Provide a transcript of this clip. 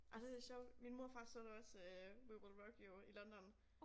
Ej det sjovt min mor og far så det også øh We Will Rock You i London